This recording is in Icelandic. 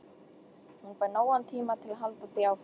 Hún fær nógan tíma til að halda því áfram.